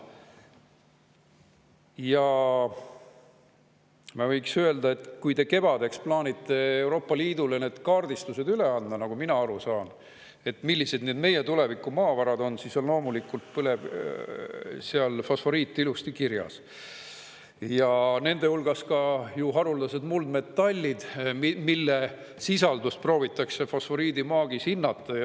Ja ma võiks öelda, et kui te kevadel plaanite Euroopa Liidule kaardistused üle anda, nagu mina aru saan, et millised meie tulevikumaavarad on, siis on loomulikult seal fosforiit ilusti kirjas, ja nende hulgas ka haruldased muldmetallid, mille sisaldust proovitakse fosforiidimaagis hinnata.